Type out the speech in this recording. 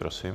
Prosím.